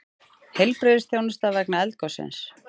Heilbrigðisþjónusta vegna eldgossins